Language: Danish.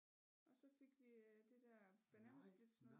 Og så fik vi det der bananasplitsnoget